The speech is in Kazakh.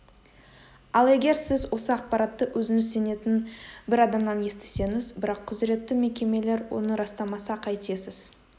ал егер сіз осы ақпаратты өзіңіз сенетін бір адамнан естісеңіз бірақ құзіретті мекемелер оны растамаса қайтесіз